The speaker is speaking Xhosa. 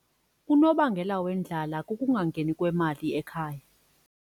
Unobangela wendlala kukungangeni kwemali ekhaya.